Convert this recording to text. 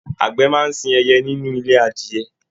Àgbẹ máa sìn ẹyẹ nínú ilé adìyẹ̀.